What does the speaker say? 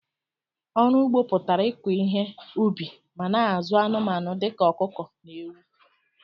ọrụ ụgbọ pụtara ịkọ ihe ubi ma na- azụ anumanu dika ọkụkọ na ewu.